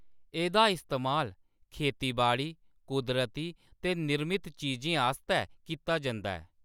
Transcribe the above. एह्‌‌‌दा इस्तेमाल खेतीबाड़ी, कुदरती ते निर्मित चीजें आस्तै कीता जंदा ऐ।